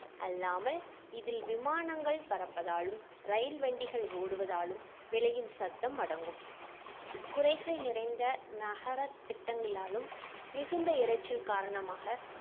அல்லாமல் இதில் விமானங்கள் பறப்பதாலும் ரயில் வண்டிகள் ஓடுவதாலும் விளையும் சத்தம் அடங்கும் குறைகள் நிறைந்த நகர திட்டங்களாலும் மிகுந்த இரைச்சல் காரணமாக